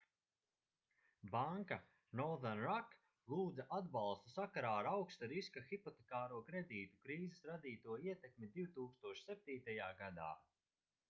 banka northern rock lūdza atbalstu sakarā ar augsta riska hipotekāro kredītu krīzes radīto ietekmi 2007. gadā